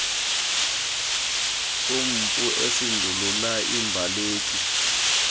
sompu esindulula imbaleki